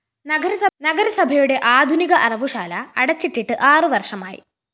നഗരസഭയുടെ ആധുനിക അറവുശാല അടച്ചിട്ടിട്ട് ആറുവര്‍ഷമായി